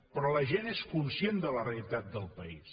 però la gent és conscient de la realitat del país